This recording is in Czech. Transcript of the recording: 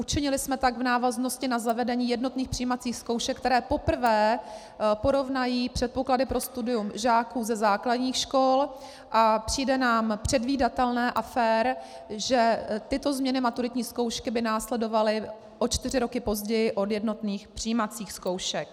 Učinili jsme tak v návaznosti na zavedení jednotných přijímacích zkoušek, které poprvé porovnají předpoklady pro studium žáků ze základních škol, a přijde nám předvídatelné a fér, že tyto změny maturitní zkoušky by následovaly o čtyři roky později od jednotných přijímacích zkoušek.